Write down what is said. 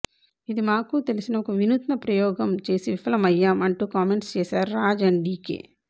ఇది మాకూ తెలిసిన ఒక వినూత్న ప్రయోగం చేసి విఫలమయ్యాం అంటూ కామెంట్స్ చేసారు రాజ్ అండ్ డీకే